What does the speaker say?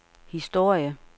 historie